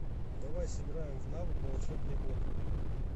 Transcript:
давай сыграем в навык волшебный бот